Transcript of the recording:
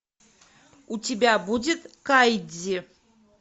у тебя будет кайдзи